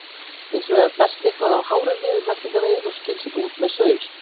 Hins vegar berst eitthvað af hárum niður meltingarveginn og skilst út með saur.